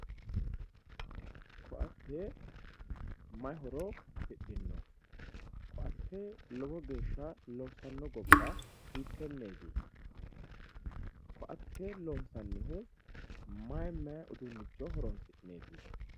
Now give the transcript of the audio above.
ko"atte may horo afidhino ko"atte lowo geeshsha loossanno gobba hiittenneeti ko"atte loonsannihu may may uduunnicho horoonsi'neeti.